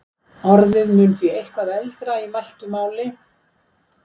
orðið mun því eitthvað eldra í mæltu máli